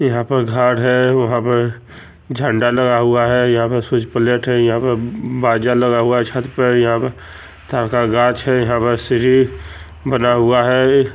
यहाँ पर घाट है वहां पर झंडा लगा हुआ है यहाँ पर सूर्ज प्लेट है यहाँ पे बाजा लगा हुआ है छत पर अब ताड़ का गाछ है यहाँ पर सीढ़ी बना हुआ है।